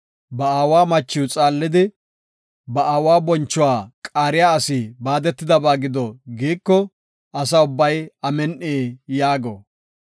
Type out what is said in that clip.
“Ba aawa machiw xaallidi, ba aawa bonchuwa qaariya asi baadetidaysa gido” giiko, Asa ubbay, “Amin7i” yaago.